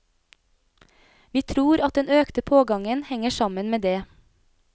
Vi tror at den økte pågangen henger sammen med det.